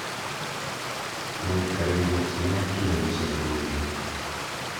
Mũikarĩri gĩtĩ nĩakinya mũcemanio-inĩ